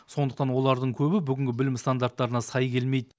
сондықтан олардың көбі бүгінгі білім стандарттарына сай келмейді